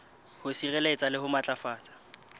ho sireletsa le ho matlafatsa